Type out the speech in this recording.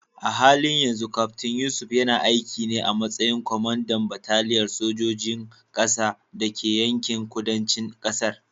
A halin yanzu Kaftin Yusuf yana aiki ne a matsayin kwamandan bataliyar sojojin ƙasa da ke yankin kudancin ƙasar.